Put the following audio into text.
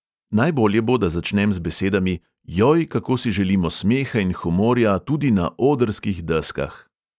Najbolje bo, da začnem z besedami: "joj, kako si želimo smeha in humorja tudi na odrskih deskah!"